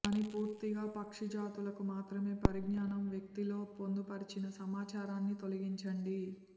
కానీ పూర్తిగా పక్షి జాతులకు మాత్రమే పరిజ్ఞానం వ్యక్తి లో పొందుపరిచిన సమాచారాన్ని తొలగించండి